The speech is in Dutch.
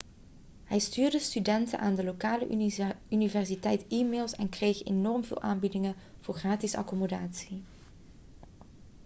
hij stuurde studenten aan de lokale universiteit e-mails en kreeg enorm veel aanbiedingen voor gratis accommodatie